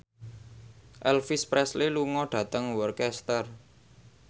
Elvis Presley lunga dhateng Worcester